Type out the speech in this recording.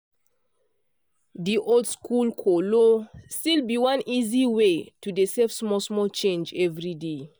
di oldschool kolo still be one easy way to dey save small small change every day.